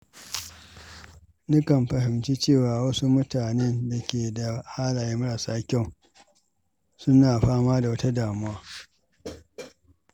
Nakan fahimci cewa wasu mutanen da ke da halaye marasa kyau suna fama da wata damuwa.